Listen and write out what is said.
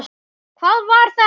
HVAÐ VAR ÞETTA?